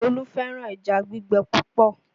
Olú fẹ́ràn ẹja gbígbẹ púpọ̀